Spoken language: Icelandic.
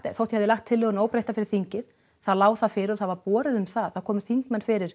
þó ég hefði lagt tillöguna óbreytta fyrir þingið þá lá það fyrir og það var borið um það það komu þingmenn fyrir